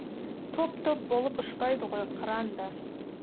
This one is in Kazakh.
топ топ болып ұшпайды ғой қыран да